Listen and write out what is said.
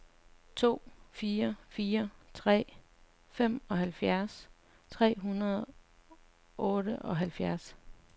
to fire fire tre femoghalvfjerds tre hundrede og otteoghalvfjerds